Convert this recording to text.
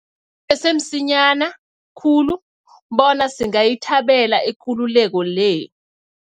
Kusese msinya khulu bona singayithabela ikululeko le.